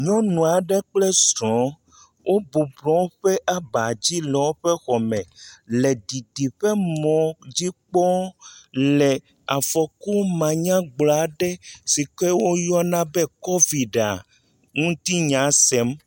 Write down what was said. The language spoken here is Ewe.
Nyɔnu aɖe kple srɔ̃ɔ wobɔblɔ woƒe abadzi le woƒe xɔme le didiƒemɔ̃ dzi kpɔm le afɔku manyagblɔ aɖe si ke woyɔna bɔ Kɔviɖia, ŋuti nya sem.